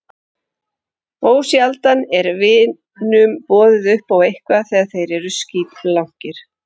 Ósjaldan er vinunum boðið upp á eitthvað þegar þeir eru skítblankir.